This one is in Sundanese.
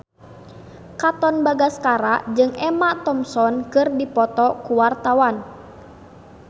Katon Bagaskara jeung Emma Thompson keur dipoto ku wartawan